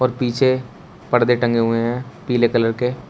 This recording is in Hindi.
पीछे परदे टंगे हुए हैं पीले कलर के।